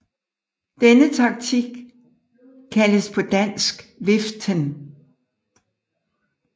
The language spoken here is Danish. Denne taktik kaldes på dansk viften